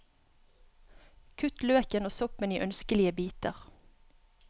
Kutt løken og soppen i ønskelige biter.